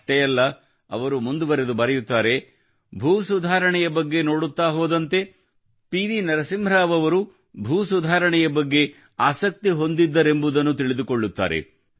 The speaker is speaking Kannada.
ಅಷ್ಟೇ ಅಲ್ಲಾ ಅವರು ಮುಂದೆ ಹೀಗೆ ಹೇಳಿದ್ದಾರೆ ಭೂ ಸುಧಾರಣೆಯ ಬಗ್ಗೆ ನೋಡುತ್ತಾ ಹೋದಂತೆ ಅವರು ಪಿ ವಿ ನರಸಿಂಹರಾವ್ ಅವರೂ ಭೂ ಸುಧಾರಣೆಯ ಬಗ್ಗೆ ಆಸಕ್ತಿ ಹೊಂದಿದ್ದರೆಂಬುದನ್ನು ತಿಳಿದುಕೊಳ್ಳುತ್ತಾರೆ